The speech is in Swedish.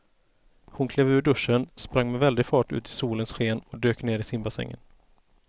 Hon klev ur duschen, sprang med väldig fart ut i solens sken och dök ner i simbassängen.